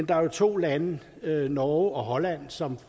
der er to lande norge og holland som